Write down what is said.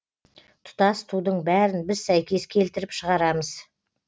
тұтас тудың бәрін біз сәйкес келтіріп шығарамыз